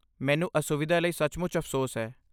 ਮੈਨੂੰ ਅਸੁਵਿਧਾ ਲਈ ਸੱਚਮੁੱਚ ਅਫ਼ਸੋਸ ਹੈ।